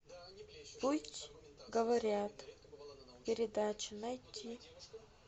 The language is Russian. пусть говорят передача найти